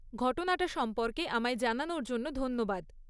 ঘটনাটা সম্পর্কে আমায় জানানোর জন্য ধন্যবাদ।